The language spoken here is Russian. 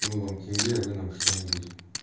мы вам тенге а вы нам что-нибудь